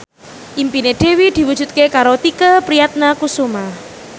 impine Dewi diwujudke karo Tike Priatnakusuma